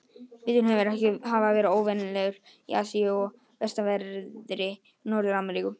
Veturinn virðist ekki hafa verið óvenjulegur í Asíu og vestanverðri Norður-Ameríku.